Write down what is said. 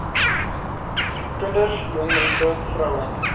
kinders jongmense vroue